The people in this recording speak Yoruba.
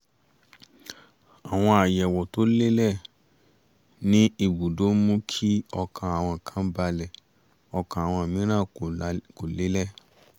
àwọn àyẹ̀wò to lé lẹ̀ ní ìbùdó ń mú kí ọkàn àwọn kan balẹ̀ ọkàn àwọn mìíràn kò lélẹ̀